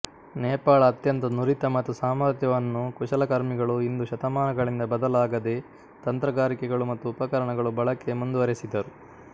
ನೇಪಾಳ ಅತ್ಯಂತ ನುರಿತ ಮತ್ತು ಸಾಮರ್ಥ್ಯವನ್ನು ಕುಶಲಕರ್ಮಿಗಳು ಇಂದು ಶತಮಾನಗಳಿಂದ ಬದಲಾಗದೆ ತಂತ್ರಗಾರಿಕೆಗಳು ಮತ್ತು ಉಪಕರಣಗಳು ಬಳಕೆ ಮುಂದುವರೆಸಿದರು